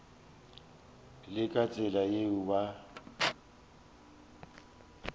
le ka tsela yeo ba